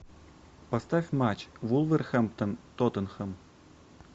поставь матч вулверхэмптон тоттенхэм